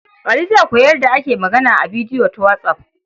Ali zai koyi yadda ake magana a bidiyo ta whatsApp.